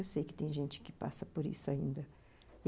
Eu sei que tem gente que passa por isso ainda.